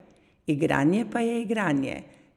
Igranje pa je igranje.